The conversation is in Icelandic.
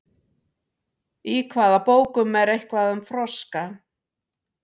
í hvaða bókum er eitthvað um froska